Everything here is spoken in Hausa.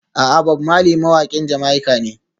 A'a, Bob Marley mawaƙin Jamaica ne.